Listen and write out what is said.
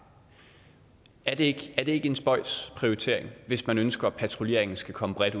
er det ikke en spøjs prioritering hvis man ønsker at patruljeringen skal komme bredt